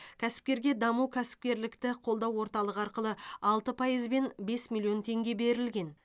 кәсіпкерге даму кәсіпкерлікті қолдау орталығы арқылы алты пайызбен бес миллион теңге берілген